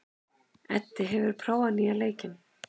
Eddi, hefur þú prófað nýja leikinn?